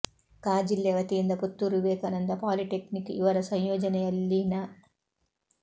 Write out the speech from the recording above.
ಕ ಜಿಲ್ಲೆ ವತಿಯಿಂದ ಪುತ್ತೂರು ವಿವೇಕಾನಂದ ಪಾಲಿಟೆಕ್ನಿಕ್ ಇವರ ಸಂಯೋಜನೆಯಲ್ಲಿ ನ